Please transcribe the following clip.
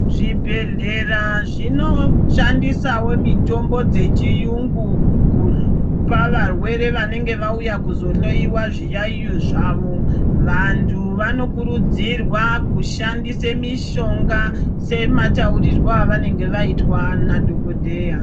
Zvibhedhlera zvinoshandisawo mitombo dzechiyungu kupa varwere vanenge vauya kuzohloyiwa zviyaiyo zvavo. Vantu vanokurudzirwa kushandise mishonga sema taurirwo avanenge vaitwa nadhokodheya.